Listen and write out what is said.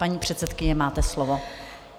Paní předsedkyně, máte slovo.